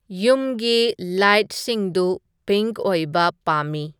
ꯌꯨꯝꯒꯤ ꯂꯥꯏꯠꯁꯤꯡꯗꯨ ꯄꯤꯡꯛ ꯑꯣꯏꯕ ꯄꯥꯝꯃꯤ